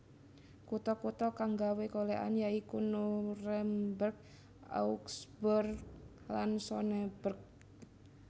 Kutha kutha kang nggawé golèkan ya iku Nuremberg Augsburg lan Sonneberg